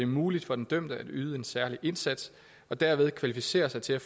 muligt for den dømte at yde en særlig indsats og dermed kvalificere sig til at